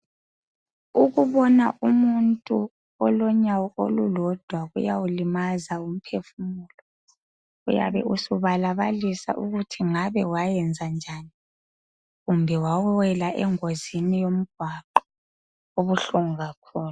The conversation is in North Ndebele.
Ukubona umuntu olonyawo olulodwa kuyawulimaza umpefumulo. Uyabe usubalabalisa ukuthi ngabe wayenza njani kumbe wawela engozini yomgwaqo. Kubuhlungu kakhulu